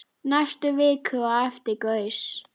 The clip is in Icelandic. Næstu viku á eftir gaus